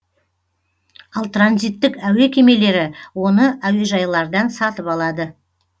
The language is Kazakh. ал транзиттік әуе кемелері оны әуежайлардан сатып алады